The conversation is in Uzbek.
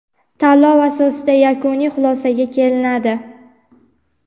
tanlov asosida yakuniy xulosaga kelinadi.